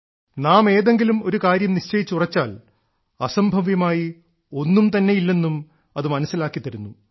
നാം ഏതെങ്കിലും ഒരു കാര്യം നിശ്ചയിച്ചുറച്ചാൽ അസംഭവ്യമായി ഒന്നും തന്നെയില്ലെന്നും അത് മനസ്സിലാക്കിത്തരുന്നു